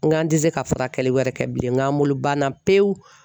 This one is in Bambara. N k'an tɛ se ka furakɛli wɛrɛ kɛ bilen n k'an bolo banna pewu.